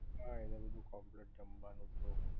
હા એ બધુ કંપ્લીટ જમવાનું તો